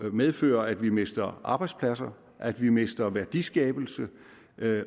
medfører at vi mister arbejdspladser at vi mister værdiskabelse